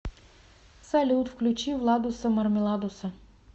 салют включи владуса мармеладуса